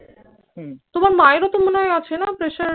তোমার মায়েরও তো মনে হয় আছে না প্রেশার?